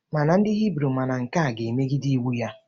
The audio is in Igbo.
Ma ndị Hibru ma na nke a ga-emegide iwu ya.